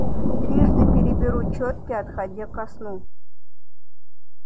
трижды переберу чётки отходя ко сну